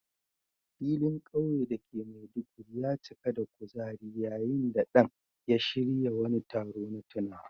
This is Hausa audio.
Filin kauye da ke Maiduguri ya cika da kuzari yayin da Dan ya shirya wani taro na tunawa.